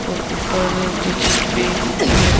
और ऊपर जो छत पे हैं।